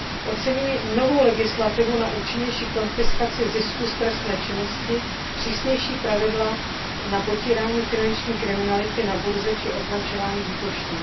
Oceňuji novou legislativu na účinnější konfiskaci zisku z trestné činnosti, přísnější pravidla na potírání finanční kriminality na burze či označování výbušnin.